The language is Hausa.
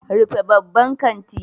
Rufe babban kanti.